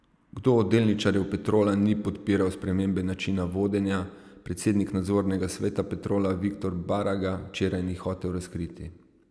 Kdo od delničarjev Petrola ni podpiral spremembe načina vodenja, predsednik nadzornega sveta Petrola Viktor Baraga včeraj ni hotel razkriti.